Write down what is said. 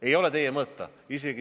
Ei ole see teie mõõta!